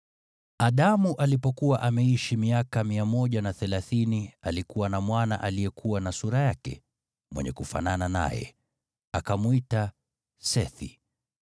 Adamu alipokuwa ameishi miaka 130, alikuwa na mwana aliyekuwa na sura yake, mwenye kufanana naye. Akamwita Sethi.